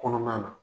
Kɔnɔna na